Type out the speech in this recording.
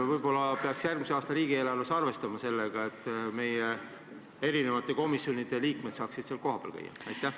Võib-olla peaks järgmise aasta riigieelarves arvestama sellega, et meie komisjonide liikmed saaksid kohapeal käia?